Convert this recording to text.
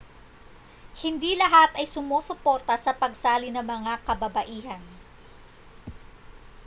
hindi lahat ay sumusuporta sa pagsali ng mga kababaihan